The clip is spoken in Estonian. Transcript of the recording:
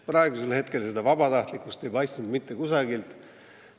Praegu ei paistnud seda vabatahtlikkust mitte kusagilt.